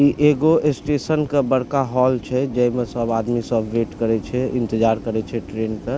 इ एगो स्टेशन के बड़का हॉल छै जे मे सब आदमी सब वेट करय छै इंतजार करय छै ट्रैन के --